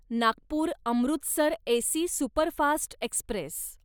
Nagpur Amritsar AC superfast Express